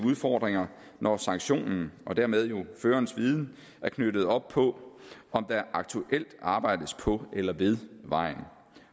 udfordringer når sanktionen og dermed førerens viden er knyttet op på om der aktuelt arbejdes på eller ved vejen